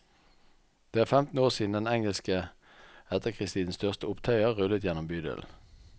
Det er femten år siden den engelske etterkrigstidens største opptøyer rullet gjennom bydelen.